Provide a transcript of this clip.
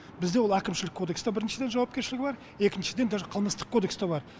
бізде ол әкімшілік кодексте біріншіден жауапкершілігі бар екіншіден даже қылмыстық кодекста бар